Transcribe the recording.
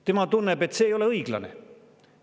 Tema tunneb, et see ei ole õiglane.